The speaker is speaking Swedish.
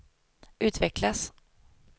utvecklas